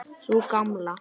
Sú Gamla?